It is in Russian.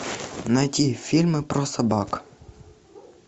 найти фильмы про собак